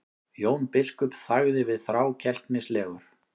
Jón biskup þagði við, þrákelknislegur.